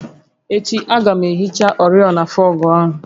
Echi, a ga m ehicha oriọna fọọgụ áhụ